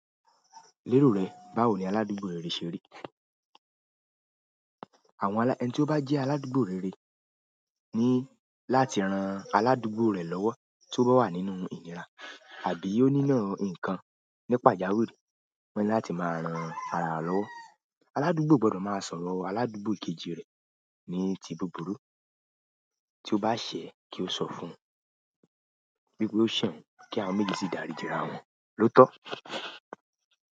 Lérò rẹ báwo ni aládúgbò rere ṣe rí? Àwọn alá-- ẹni tí ó bá jẹ́ aládúgbò rere ni láti ran aládúgbò rẹ̀ lọ́wọ́ tí ó bá wà nínú ìnira àbí ó nílò nǹkan ní pajawiri. Wọ́n ní láti máa rán ara lọ́wọ́. Aládúgbò o gbọdọ̀ máa sọ̀rọ̀ aládúgbò kejì rẹ̀ ní ti búburú, tí ó bá ṣẹ̀ kí ó sọ fún un wípé ó ṣẹ̀ oun kí àwọn méjì sì daríji ara wọn ló tọ́.